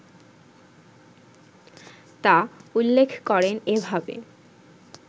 তা উল্লেখ করেন এভাবে